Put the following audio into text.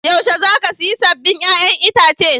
Yaushe za ka saya sabbin 'ya'yan itace?